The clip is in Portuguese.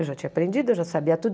Eu já tinha aprendido, eu já sabia tudo.